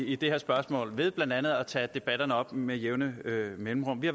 i det her spørgsmål ved blandt andet at tage debatterne op med jævne mellemrum vi